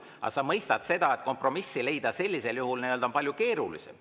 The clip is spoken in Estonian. Aga sa mõistad, et kompromissi leida on sellisel juhul palju keerulisem.